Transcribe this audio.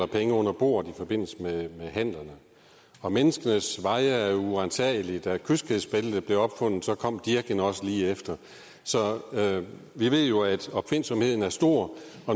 penge under bordet i forbindelse med handlerne menneskenes veje er jo uransagelige og da kyskhedsbæltet blev opfundet kom dirken også lige efter så vi ved jo at opfindsomheden er stor